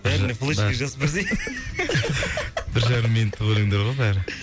бәріне флешкаға жазып берсей бір жарым минуттық өлеңдер ғой бәрі